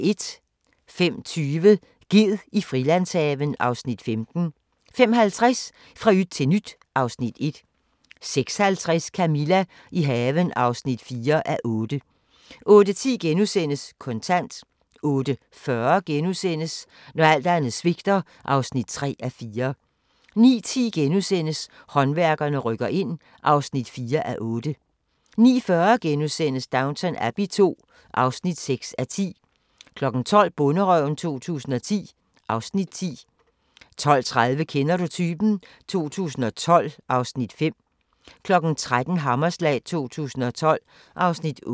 05:20: Ged i Frilandshaven (Afs. 15) 05:50: Fra yt til nyt (Afs. 1) 06:50: Camilla – i haven (4:8) 08:10: Kontant * 08:40: Når alt andet svigter (3:4)* 09:10: Håndværkerne rykker ind (4:8)* 09:40: Downton Abbey II (6:10)* 12:00: Bonderøven 2010 (Afs. 10) 12:30: Kender du typen? 2012 (Afs. 5) 13:00: Hammerslag 2012 (Afs. 8)